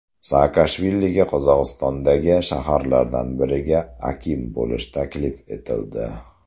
Saakashviliga Qozog‘istondagi shaharlardan biriga akim bo‘lish taklif etildi.